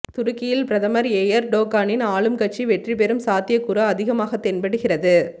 துருக்கியில் பிரதமர் எயர்டோகானின் ஆளும் கட்சி வெற்றி பெறும் சாத்தியக் கூறு அதிகமாகத் தென்படுகின்றது